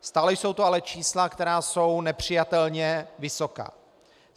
Stále jsou to ale čísla, která jsou nepřijatelně vysoká.